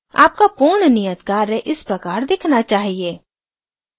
आपका पूर्ण नियत कार्य इस प्रकार दिखना चाहिए